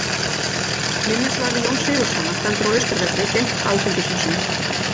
Minnisvarði Jóns Sigurðssonar stendur á Austurvelli, gegnt Alþingishúsinu.